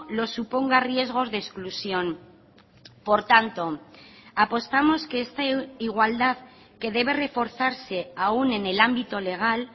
lo suponga riesgos de exclusión por tanto apostamos que esta igualdad que debe reforzarse aún en el ámbito legal